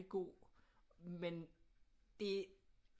God men det